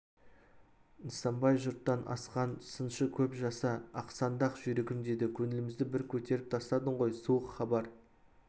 нысанбай жұрттан асқан сыншы көп жаса ақсаңдақ жүйрігім деді көңілімізді бір көтеріп тастадың ғой суық хабар